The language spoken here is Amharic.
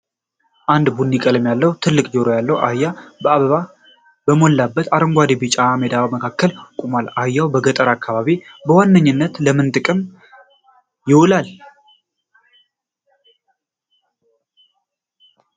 አንድ ቡኒ ቀለም ያለው፣ ትልቅ ጆሮ ያለው አህያ በአበባ በሞላበት አረንጓዴና ቢጫማ ሜዳ መካከል ቆሟል። አህያ በገጠሩ አካባቢ በዋነኝነት ለምን ጥቅም ይውላል?